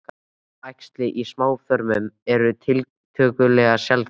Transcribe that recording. Æxli í smáþörmum eru tiltölulega sjaldgæf.